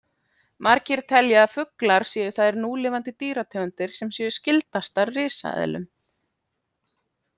Margir telja að fuglar séu þær núlifandi dýrategundir sem séu skyldastar risaeðlum.